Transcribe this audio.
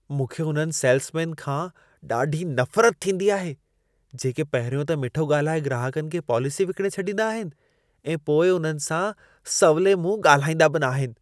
मूंखे उन्हनि सेल्समैन खां ॾाढी नफ़रत थींदी आहे, जेके पहिरियों त मिठो ॻाल्हाए ग्राहकनि खे पॉलिसी विकिणे छॾींदा आहिनि ऐं पोइ उन्हनि सां सवली मुंहं ॻाल्हाईंदा बि न आहिनि।